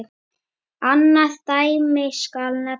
Annað dæmi skal nefna.